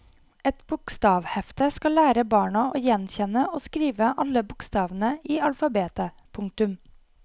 Et bokstavhefte skal lære barna å gjenkjenne og skrive alle bokstavene i alfabetet. punktum